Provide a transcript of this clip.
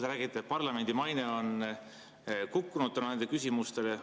Te räägite, et parlamendi maine on kukkunud nende küsimuste tõttu.